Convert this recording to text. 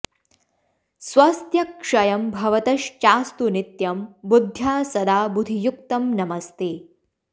स्वस्त्य क्षयं भवतश्चास्तु नित्यं बुद्ध्या सदा बुधि युक्तं नमस्ते